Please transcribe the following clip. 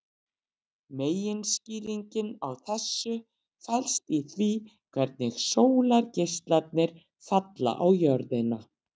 Meginskýringin á þessu felst í því hvernig sólargeislarnir falla á jörðina.